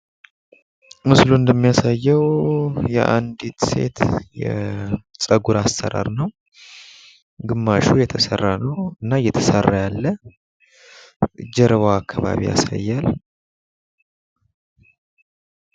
ምስሉ እንደሚያሳየው የአንዲት ሴት ጸጉር አሰራር ነው። ግማሹ የተሰራ ነው እና እየተሰራ ያለ። ጀርባዋ አካባቢ ያሳያል።